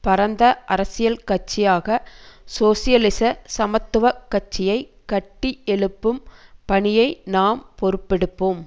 பரந்த அரசியல் கட்சியாக சோசியலிச சமத்துவ கட்சியை கட்டி எழுப்பும் பணியை நாம் பொறுப்பெடுப்போம்